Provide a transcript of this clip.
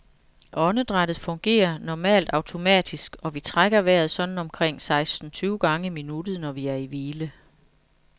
Åndedrættet fungerer normalt automatisk, og vi trækker vejret sådan omkring seksten tyve gange i minuttet, når vi er i hvile.